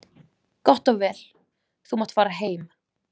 Gott og vel, þú mátt fara heim.